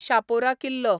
शापोरा किल्लो